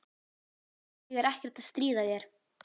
Ég er ekkert að stríða þér.